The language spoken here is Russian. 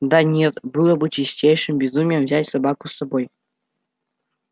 да нет было бы чистейшим безумием взять собаку с собой